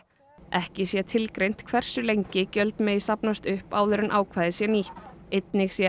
ekki sé tilgreint hversu lengi gjöld megi safnast upp áður en ákvæðið sé nýtt einnig sé